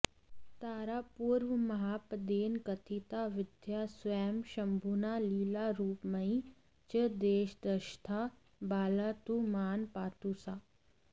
तारा पूर्वमहापदेन कथिता विद्या स्वयं शम्भुना लीलारूपमयी च देशदशधा बाला तु मां पातु सा